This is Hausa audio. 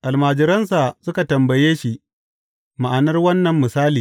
Almajiransa suka tambaye shi ma’anar wannan misali.